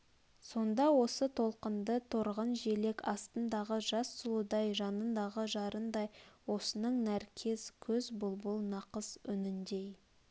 сонда осы толқынды торғын желек астындағы жас сұлудай жанындағы жарындай осының нәркес көз бұлбұл нақыс үніндей